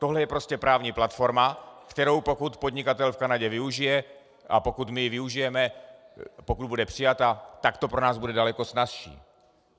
Tohle je prostě právní platforma, kterou, pokud podnikatel v Kanadě využije a pokud my ji využijeme, pokud bude přijata, tak to pro nás bude daleko snazší.